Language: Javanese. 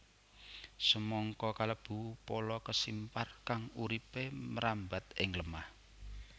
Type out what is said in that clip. Semangka kalebu pala kesimpar kang uripé mrambat ing lemah